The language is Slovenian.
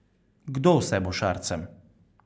Kdo vse bo s Šarcem?